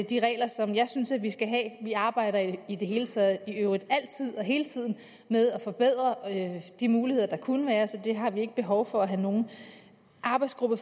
de regler som jeg synes vi skal have vi arbejder i i det hele taget altid og hele tiden med at forbedre de muligheder der kunne være så det har vi ikke behov for at have nogen arbejdsgruppe